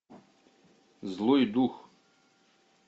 злой дух